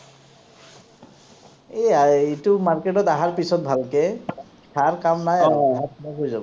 এই, এইটো market ত আহাৰ পিছত ভালকে THAR কাম নাই আৰু। হৈ যাব।